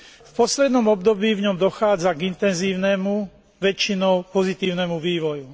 V poslednom období v ňom dochádza k intenzívnemu, väčšinou pozitívnemu vývoju.